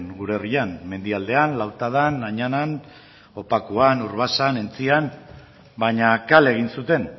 gure herrian mendialdean lautadan añanan opakuan urbasan entzian baina kale egin zuten